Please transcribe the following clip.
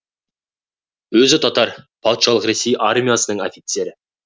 өзі татар патшалық ресей армиясының офицері